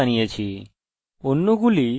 অন্যগুলি শুধু স্ট্যান্ডার্ড আদর্শ